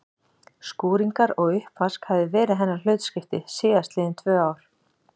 Skúringar og uppvask hafði verið hennar hlutskipti síðast liðin tvö ár.